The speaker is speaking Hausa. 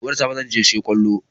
Gobe da safe zan je siyo kwallon.